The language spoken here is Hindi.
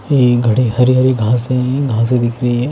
ये घड़ी हरी-हरी घासें हैं घासें दिख रही हैं।